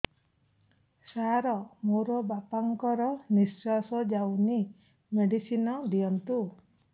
ସାର ମୋର ବାପା ଙ୍କର ନିଃଶ୍ବାସ ଯାଉନି ମେଡିସିନ ଦିଅନ୍ତୁ